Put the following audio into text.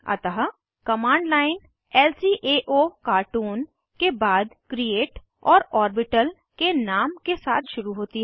अतः command line ल्काओकार्टून के बाद क्रिएट और ऑर्बिटल के नाम के साथ शुरू होती है